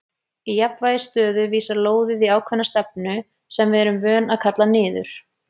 Í jafnvægisstöðu vísar lóðið í ákveðna stefnu sem við erum vön að kalla niður.